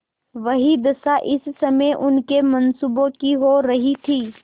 वही दशा इस समय उनके मनसूबों की हो रही थी